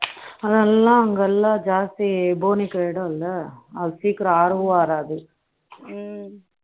அதெல்லாம் அங்கெல்லாம் ஜாஸ்தி போனிக்கு இடம் இல்லை அது சீக்கிரம் ஆறவும் ஆறாது ம்ம